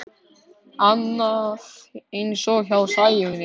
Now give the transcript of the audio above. Annað eins hjá Sæunni.